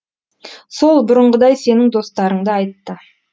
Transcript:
сол бұрынғыдай сенің достарыңды айтты